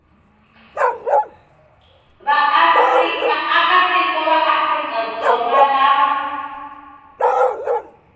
vaakatiko va afrika dzonga lava